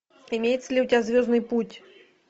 имеется ли у тебя звездный путь